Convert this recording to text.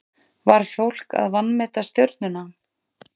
Var fólk að vanmeta Stjörnuna?